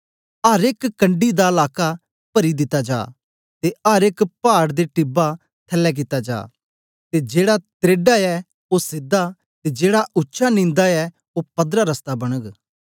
अर एक कंढ़ी दा लाका परी दिता जा ते अर एक पाड़ ते टीबा थलै कित्ता जा ते जेड़ा त्रैढ़ा ऐ ओ सीधा ते जेड़ा उच्चा नींदा ऐ ओ पदरा रस्ता बनग